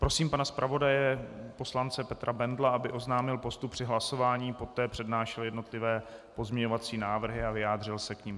Prosím pana zpravodaje poslance Petra Bendla, aby oznámil postup při hlasování, poté přednášel jednotlivé pozměňovací návrhy a vyjádřil se k nim.